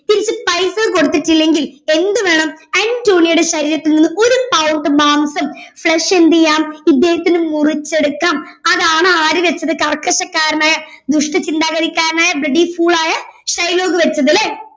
തിരിച്ച് പൈസ കൊടുത്തിട്ടില്ലെങ്കിൽ എന്ത് വേണം അന്റോണിയോയുടെ ശരീരത്തിന്ന് ഒരു pound മാംസം flesh എന്ത് ചെയ്യാം ഇദ്ദേഹത്തിന് മുറിച്ചെടുക്കാം അതാണ് ആര് വച്ചത് കർക്കശക്കാരനായ ദുഷ്ടചിന്താഗതിക്കാരനായ bloody fool ആയ ഷൈലോക്ക് വച്ചതല്ലേ